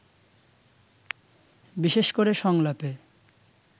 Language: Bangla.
বিশেষ করে সংলাপে